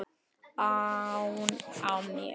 ann á mér.